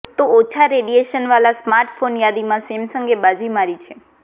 તો ઓછા રેડીએશન વાલા સ્માર્ટફોનની યાદીમાં સેમસંગે બાજી મારી છે